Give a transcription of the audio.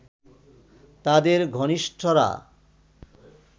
তাদের ঘনিষ্ঠরা